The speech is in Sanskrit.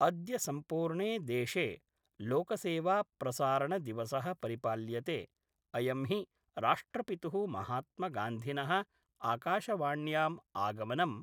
अद्य सम्पूर्णे देशे लोकसेवाप्रसारणदिवस: परिपाल्यते अयं हि राष्ट्रपितुः महात्मगान्धिन: आकाशवाण्याम् आगमनम्